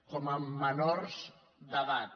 com a menors d’edat